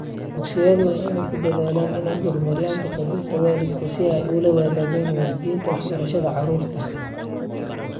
Dugsiyadu waa inay ku dadaalaan inay horumariyaan ka-qaybgalka waalidka si ay ula wadaagaan waalidiinta waxbarashada carruurta.